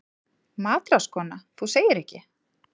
MATRÁÐSKONA: Þú segir ekki!